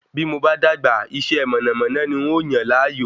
Bí mo bá dàgbà, iṣẹ́ mọ̀nàmọ́ná ní ń óò yàn láàyò